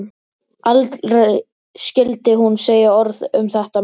Aldrei skyldi hún segja orð um þetta meir.